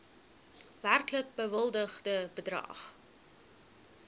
werklik bewilligde bedrag